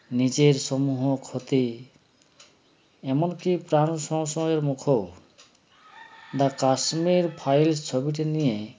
নিজের সমূহ ক্ষতি এমনকি প্রান সংশয়ের মুখও the kashmir files ছবিটি নিয়ে